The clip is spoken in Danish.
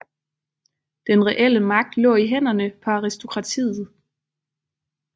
Den reelle magt lå i hænderne på aristokratiet